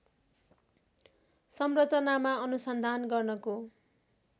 संरचनामा अनुसन्धान गर्नको